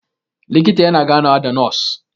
likita yana ganawa da nos